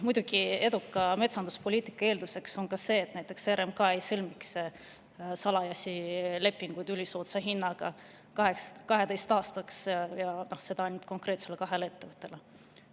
Muidugi, eduka metsanduspoliitika eelduseks on näiteks see, et RMK ei sõlmiks salajasi lepinguid ülisoodsa hinnaga 12 aastaks ja ainult kahe konkreetse ettevõttega.